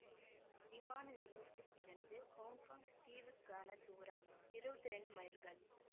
விமான நிலையத்தில் இருந்து ஹொங்கொங் தீவுக்கான தூரம் இருவத்தி இரண்டு மைல்கள்